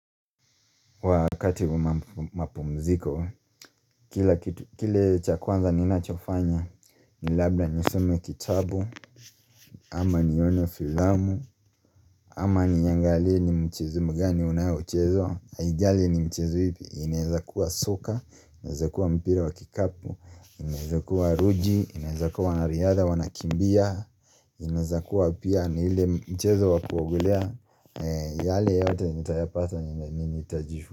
Wakati wa mapumziko, kile cha kwanza ninachofanya ni labda nisome kitabu. Ama nione filamu. Ama niangalie ni mchezo mgani unao uchezwa. Aijali ni mchezo ipi, inaeza kuwa soka, inaeza kuwa mpira wa kikapu, inaeza kuwa ruji, inaeza kuwa wanariadha wanakimbia. Inaeza kuwa pia ni ile mchezo wa kuogelea yale yote nitayapata nilani nitajifu.